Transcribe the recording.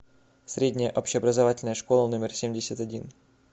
средняя общеобразовательная школа номер семьдесят один